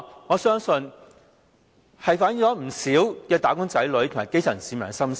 我相信這項改動，反映了不少"打工仔女"和基層市民的心聲。